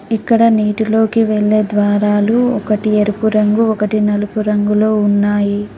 ఇక్కడ నీటిలోకి వెళ్ళే ద్వారాలు ఒకటి ఎరుపు రంగు ఒకటి నలుపు రంగులో ఉన్నాయి.